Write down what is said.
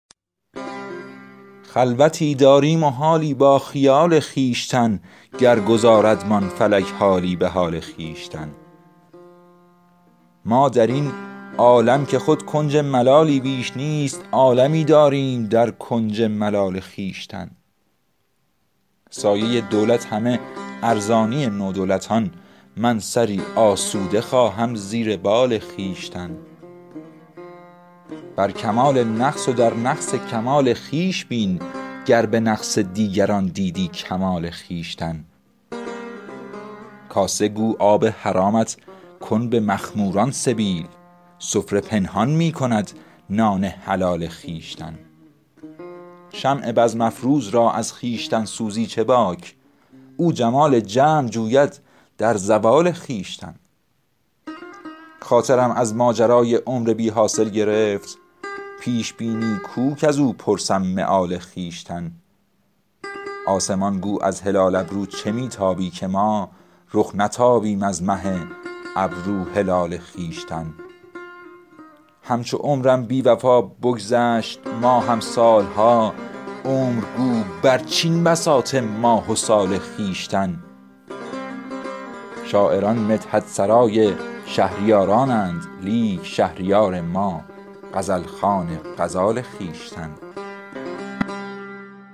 خلوتی داریم و حالی با خیال خویشتن گر گذاردمان فلک حالی به حال خویشتن ما در این عالم که خود کنج ملالی بیش نیست عالمی داریم در کنج ملال خویشتن سایه دولت همه ارزانی نودولتان من سری آسوده خواهم زیر بال خویشتن شکر ایزد شاهد بخت جمیل عاشقان کرده روشن عالم از نور جمال خویشتن بر کمال نقص و در نقص کمال خویش بین گر به نقص دیگران دیدی کمال خویشتن دست گیر آن را که نبود با کسش روی سوال تا نگیری دست بر روی سوال خویشتن دوست گو نام گناه ما مبر کز فعل خویش بس بود ما را عذاب انفعال خویشتن کاسه گو آب حرامت کن به مخموران سبیل سفره پنهان می کند نان حلال خویشتن شمع بزم افروز را از خویشتن سوزی چه باک او جمال جمع جوید در زوال خویشتن خاطرم از ماجرای عمر بی حاصل گرفت پیش بینی کو کز او پرسم مآل خویشتن آسمان گو از هلال ابرو چه می تابی که ما رخ نتابیم از مه ابرو هلال خویشتن اعتدال قامت رعناقدان از حد گذشت تا نگه داری تو حد اعتدال خویشتن همچو عمرم بی وفا بگذشت ماهم سالها عمر گو برچین بساط ماه و سال خویشتن شاعران مدحت سرای شهریارانند لیک شهریار ما غزل خوان غزال خویشتن